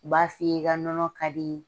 U b'a f'i ye i ka nɔnɔ kadi